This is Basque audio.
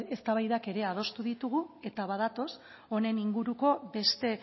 eztabaidak ere adostu ditugu eta badatoz honen inguruko beste